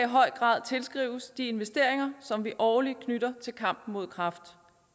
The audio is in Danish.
høj grad tilskrives de investeringer som vi årligt knytter til kampen mod kræft